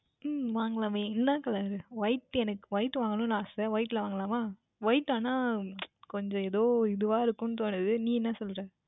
உம் வாங்கிக்கொள்ளலாமே என்ன Colour எனக்கு White Colour வாங்கவேண்டும் என்று ஆசை White யில் வாங்கிக்கொள்ளலாமா White ஆனால் கொஞ்சம் எதோ இதுவாக இருக்கும் என்று தோன்றுகின்றது நீ என்ன சொல்லுகின்றாய்